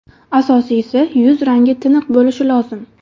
Asosiysi, yuz rangi tiniq bo‘lishi lozim.